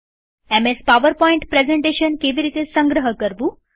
MS PowerPoint presentation તરીકે કેવી રીતે સંગ્રહ કરવું